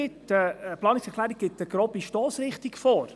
Eine Planungserklärung gibt eine grobe Stossrichtung vor.